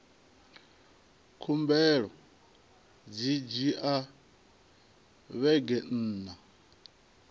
khumbelo dzi dzhia vhege nṋa